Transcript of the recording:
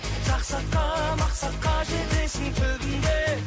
жақсы атқа мақсатқа жетесің түбінде